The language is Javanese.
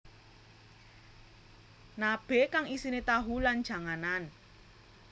Nabe kang isine tahu lan janganan